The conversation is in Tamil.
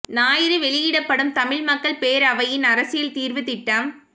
ஞாயிறு வெளியிடப்படும் தமிழ் மக்கள் பேரவையின் அரசியல் தீர்வு திட்டம்